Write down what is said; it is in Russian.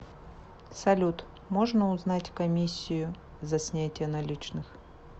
салют можно узнать комиссию за снятие наличных